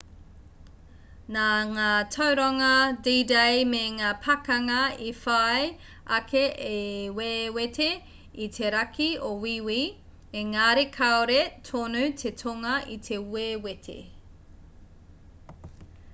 nā ngā tauranga d-day me ngā pakanga i whai ake i wewete i te raki o wīwī engari kāore tonu te tonga i te wewete